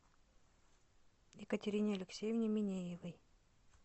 екатерине алексеевне минеевой